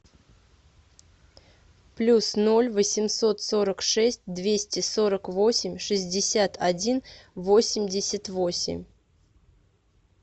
плюс ноль восемьсот сорок шесть двести сорок восемь шестьдесят один восемьдесят восемь